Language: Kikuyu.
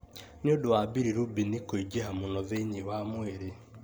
nĩ ũndũ wa bilirubin kũingĩha mũno thĩinĩ wa mwĩrĩ.